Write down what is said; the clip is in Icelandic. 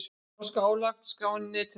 Norska álagningarskráin á netinu